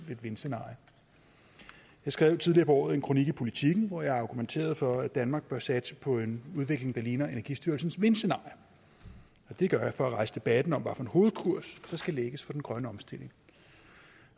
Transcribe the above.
vindscenarie jeg skrev tidligere på året en kronik i politiken hvor jeg argumenterede for at danmark bør satse på en udvikling der ligner energistyrelsens vindscenarie det gjorde jeg for at rejse debatten om hvad for en hovedkurs der skal lægges for den grønne omstilling